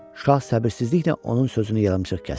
Şah səbirsizliklə onun sözünü yarımçıq kəsdi.